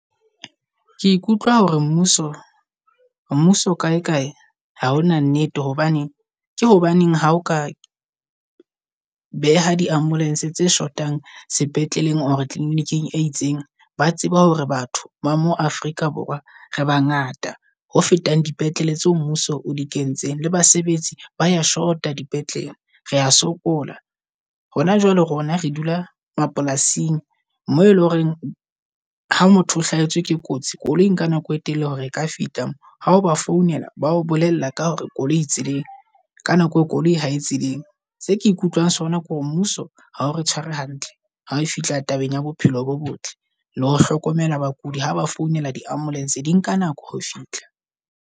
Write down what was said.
Ke ikutlwa hore mmuso mmuso kae kae ha ona nnete, hobane ke hobaneng ha o ka beha di ambulance tse shotang sepetleleng o clinic-ing e itseng. Ba tseba hore batho mo Afrika Borwa re ba ngata ho fetang dipetlele tsa mmuso o di kentseng le basebetsi baya shota dipetlele. Rea sokola hona jwale, rona re dula mapolasing moo eleng horeng ha motho o hlahetswe ke kotsi koloing ka nako e telele, hore e ka fihla moo. Ha ba founela bao, bolella ka hore koloi e tseleng ka nako e koloi ha e tseleng. Se ke ikutlwang sona ke hore mmuso ha o tshware hantle ha e fihla tabeng ya bophelo bo botle. Le ho hlokomela bakudi ha ba founela di-ambulance, di nka nako ho fihla.